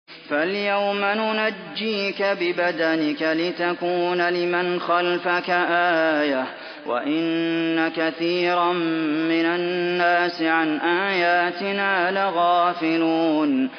فَالْيَوْمَ نُنَجِّيكَ بِبَدَنِكَ لِتَكُونَ لِمَنْ خَلْفَكَ آيَةً ۚ وَإِنَّ كَثِيرًا مِّنَ النَّاسِ عَنْ آيَاتِنَا لَغَافِلُونَ